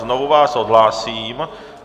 Znovu vás odhlásím.